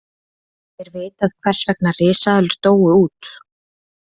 Er vitað hvers vegna risaeðlur dóu út?